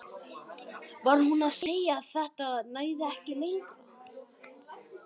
Var hún að segja að þetta næði ekki lengra?